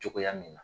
Cogoya min na